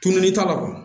Tununi t'a la